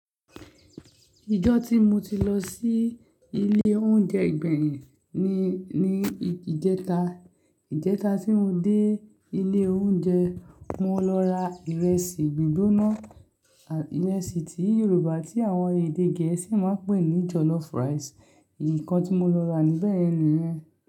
Ìjọ́ tí mo ti lọ sí ilé oúnjẹ Ìgbèyìn ni, ni ìjẹta, ìjẹta tí mo dé ilé oúnjẹ mo lọ ra ìrẹsì gbígbóná, ìrẹsì ti Yorùbá tí àwọn èdè Gẹ̀ẹ́sì máa ń pè ní jollof rice. Ìkọ tí mo lọ rà níbẹ́yẹn nìyen.